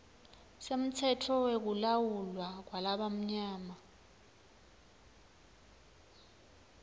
semtsetfo wekulawulwa kwalabamnyama